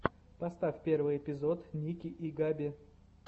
поставь первый эпизод ники и габи